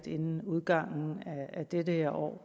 inden udgangen af det det her år